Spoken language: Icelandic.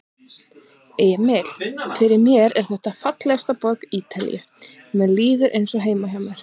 Emil: Fyrir mér er þetta fallegasta borg Ítalíu, mér líður eins og heima hjá mér.